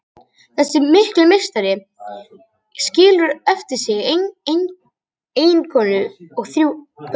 Þessi mikli meistari skilur eftir sig eiginkonu og þrjú börn.